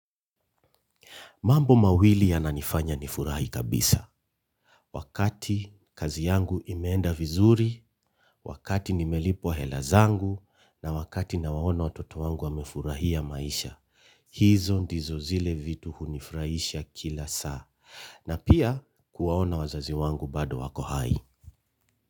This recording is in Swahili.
Mambo mawili yananifanya nifurahi kabisa. Wakati kazi yangu imeenda vizuri, wakati nimelipwa hela zangu na wakati nawaona watoto wangu wamefurahia maisha. Hizo ndizo zile vitu hunifurahisha kila saa. Na pia kuwaona wazazi wangu bado wako hai.